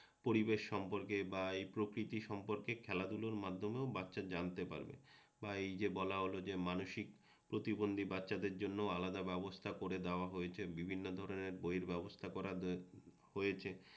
পরিবেশ সম্পর্কে বা এই প্রকৃতি সম্পর্কে খেলাধুলোর মাধ্যমেও বাচ্চা জানতে পারবে আর এই যে বলা হল মানসিক প্রতিবন্ধি বাচ্চাদের জন্যও আলাদা ব্যবস্থা করে দেওয়া হয়েছে বিভিন্ন ধরণের বইয়ের ব্যবস্থা করে দেওয়া হয়েছে